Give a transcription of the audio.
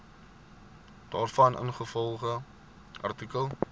daarvan ingevolge artikel